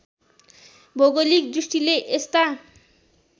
भौगोलिक दृष्टिले यस्ता